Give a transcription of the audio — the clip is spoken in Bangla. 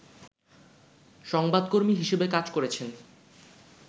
সংবাদকর্মী হিসাবে কাজ করেছেন